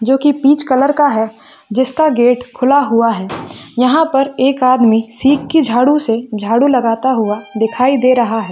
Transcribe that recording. --जो की peach colour का है जिसका गेट खुला हुआ है यहाँ पर एक आदमी शिप की झाड़ू से झाड़ू लगाता हुआ दिखाई दे रहा है।